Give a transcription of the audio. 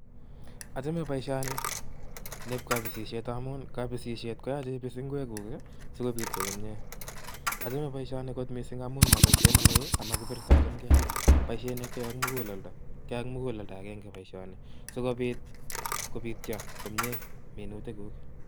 Achame boisioni nieb kabisisiet amun kabisisiet koyoch ibis ngwekuk sikobityo komyie. Achame boisioni amun moboisiet neui ama kibirtochingei, boisiet nekiyoe ak muguleldo, kiyoe ak muguleldo agenge boisioni sikobit kobityo komye minutik kuk.